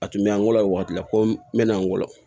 A tun bɛ an wolo o waati la ko n bɛna an golo